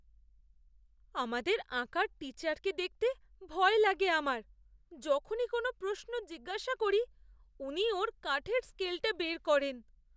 আমাদের আঁকার টিচারকে দেখতে ভয় লাগে আমার। যখনই কোন প্রশ্ন জিজ্ঞাসা করি, উনি ওঁর কাঠের স্কেলটা বের করেন।